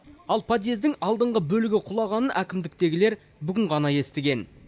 ал подъездың алдыңғы бөлігі құлағанын әкімдіктегілер бүгін ғана естіген